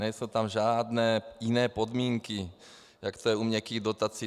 Nejsou tam žádné jiné podmínky, jako je to u měkkých dotací.